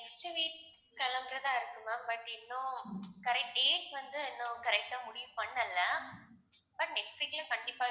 next week கிளம்பறதா இருக்கு ma'am but இன்னும் correct dates வந்து இன்னும் correct ஆ முடிவு பண்ணலை இப்ப next week ல கண்டிப்பா